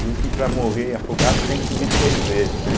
Dizem que para morrer afogado tem que subir três vezes, né?